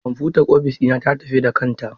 Kwamfutar ofis dina ta tafi da kanta.